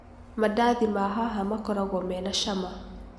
Mandathi ma haha makoragũo mena cama.